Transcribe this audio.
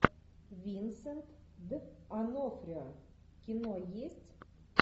винсент д онофрио кино есть